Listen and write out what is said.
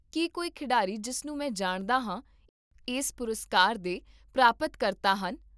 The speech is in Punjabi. ਕੀ ਕੋਈ ਖਿਡਾਰੀ ਜਿਸ ਨੂੰ ਮੈਂ ਜਾਣਦਾ ਹਾਂ ਇਸ ਪੁਰਸਕਾਰ ਦੇ ਪ੍ਰਾਪਤਕਰਤਾ ਹਨ?